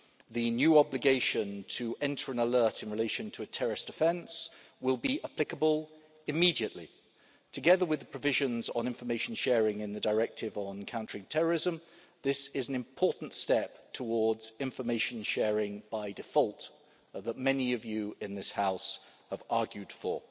The new obligation to enter an alert in relation to a terrorist offence will be applicable immediately. Together with the provisions on information sharing in the directive on countering terrorism, this is an important step towards information sharing by default, which many of you in this House have argued for.